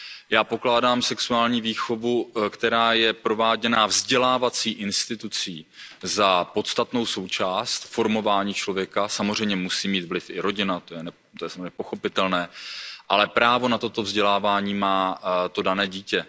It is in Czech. Já pokládám sexuální výchovu, která je prováděna vzdělávací institucí, za podstatnou součást formování člověka, samozřejmě musí mít vliv i rodina, to je samozřejmě pochopitelné, ale právo na toto vzdělávání má to dané dítě.